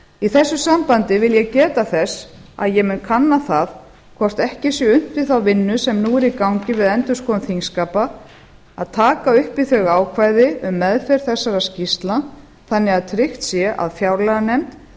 í þessu sambandi vil ég geta þess að ég mun kanna það hvort ekki sé unnt við þá vinnu sem nú er í gangi við endurskoðun þingskapa að taka upp í þau ákvæði um meðferð þessara skýrslna þannig að tryggt sé að fjárlaganefnd